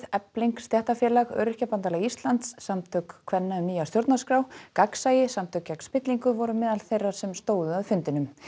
Efling stéttarfélag Öryrkjabandalag Íslands Samtök kvenna um nýja stjórnarskrá gegnsæi samtök gegn spillingu voru meðal þeirra sem stóðu að fundinum